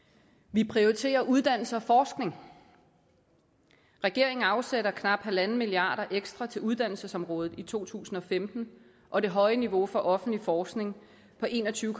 vi prioriterer uddannelse og forskning regeringen afsætter knap en milliard kroner ekstra til uddannelsesområdet i to tusind og femten og det høje niveau for offentlig forskning på en og tyve